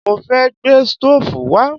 Mo fẹ́ gbé stóòfù wá